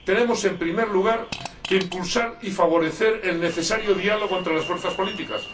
Tenemos, en primer lugar, que impulsar y favorecer el necesario diálogo entre las fuerzas políticas.